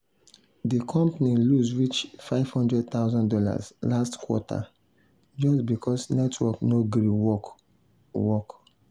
the company lose reach fifty thousand dollars0 last quarter just because network no gree work. work.